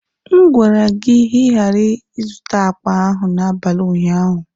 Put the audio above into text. M gwara gị ka ị ghara ịzụta akpa ahụ n'abalị ụnyaahụ!